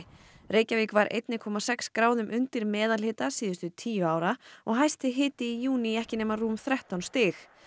Reykjavík var eitt komma sex gráðum undir meðalhita síðustu tíu ára og hæsti hiti í júní ekki nema rúm þrettán stig